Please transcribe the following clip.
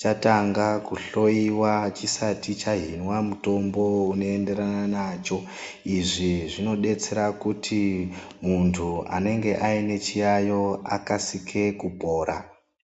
chatanga kuhloyiwa chisati chahinwa mutombo unoenderana nacho. Izvi zvinodetsera kuti muntu anenge aine chiyaiyo akasike kupora.